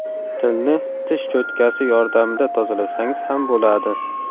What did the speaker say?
Tilni tish cho‘tkasi yordamida tozalasangiz ham bo‘ladi.